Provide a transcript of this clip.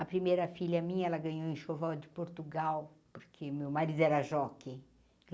A primeira filha minha, ela ganhou enxoval de Portugal, porque meu marido era jockey.